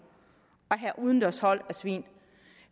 at have udendørshold af svin